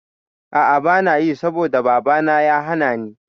A'a banayi saboda babana ya hanani